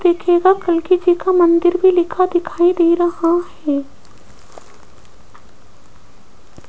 देखिएगा कलकी जी का मंदिर भी लिखा दिखाई दे रहा है।